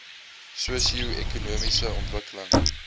sosio ekonomiese ontwikkeling